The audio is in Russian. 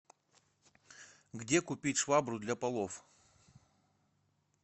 где купить швабру для полов